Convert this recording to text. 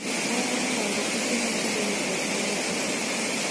" Ne oweyo rango piche mochidogo chakre wechego.